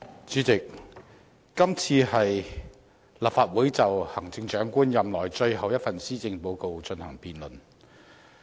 主席，這次是立法會就行政長官任內最後一份施政報告進行辯論。